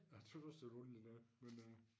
Jeg tøs også det var noget underligt noget men øh